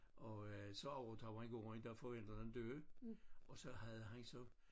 Og øh så overtog han gården da forældrene døde og så havde han så